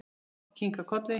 Mamma kinkaði kolli.